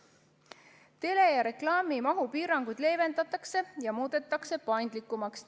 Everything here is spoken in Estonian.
Tele- ja reklaamimahu piiranguid leevendatakse ja muudetakse paindlikumaks.